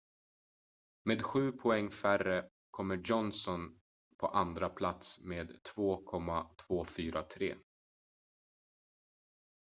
med sju poäng färre kommer johnson på andra plats med 2,243